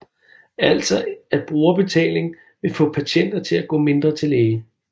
Altså at brugerbetaling vil få patienter til at gå mindre til læge